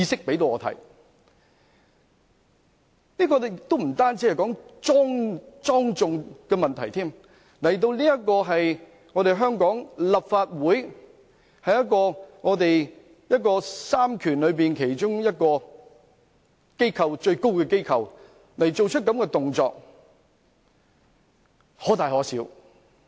這亦不單關乎莊重的問題，他在香港立法會這個在三權中其中一個最高權力的機構做出這種行為，可大可小。